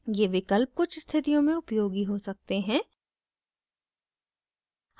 ये विकल्प कुछ स्थितियों में उपयोगी हो सकते हैं